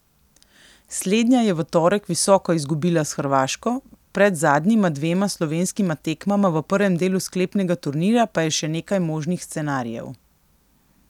Slednja je v torek visoko izgubila s Hrvaško, pred zadnjima dvema slovenskima tekmama v prvem delu sklepnega turnirja pa je še nekaj možnih scenarijev.